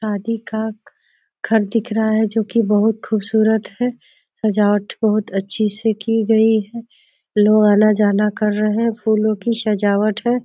शादी का घर दिख रहा है जोकि बहोत खूबसूरत है। सजावट बहोत अच्छे से की गई है। लोग आना-जाना कर रहे हैं। फूलों की सजावट है।